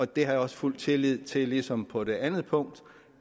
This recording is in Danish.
det har jeg også fuld tillid til ligesom på det andet punkt